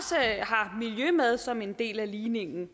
miljø med som en del af ligningen